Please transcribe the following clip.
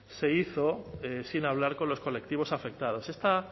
se hizo sin hablar con los colectivos afectados está